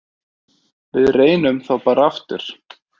Við reynum þá bara aftur.